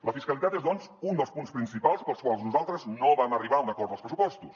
la fiscalitat és doncs un dels punts principals pels quals nosaltres no vam arribar a un acord dels pressupostos